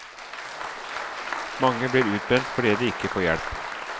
Mange blir utbrent fordi de ikke får hjelp.